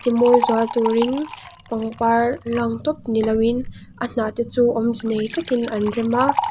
timawi zual turin pangpar hlang tawp ni loin a hnah te chu awmze nei takin an rem a.